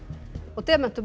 demöntum og